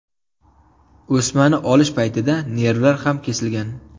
O‘smani olish paytida nervlar ham kesilgan.